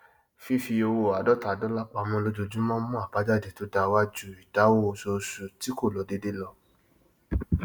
fífi owó àádọta dọlà pamọ lójojúmọ mù àbájáde to da wa ju ìdáwó oṣooṣù tí kò lọ déédéé lọ